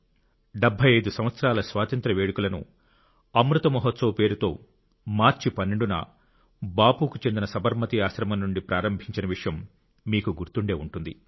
75 సంవత్సరాల స్వాతంత్ర్య వేడుకలను అమృత్ మహోత్సవ్ పేరుతో మార్చి 12 న బాపుకు చెందిన సబర్మతి ఆశ్రమం నుండి ప్రారంభించిన విషయం మీకు గుర్తుండే వుంటుంది